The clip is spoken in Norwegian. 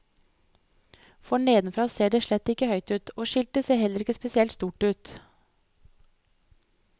For nedenfra ser det slett ikke høyt ut, og skiltet ser heller ikke spesielt stort ut.